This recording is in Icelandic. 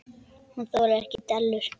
Hún þolir ekki dellur.